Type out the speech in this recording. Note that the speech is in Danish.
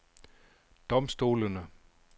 domstolene